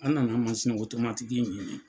An nana mansin ɲini.